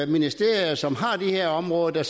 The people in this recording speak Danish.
ministerier som har de her områder der